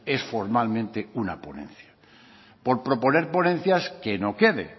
es formalmente una ponencia por proponer ponencias que no quede